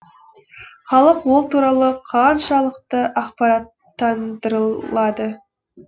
халық ол туралы қаншалықты ақпараттандырылады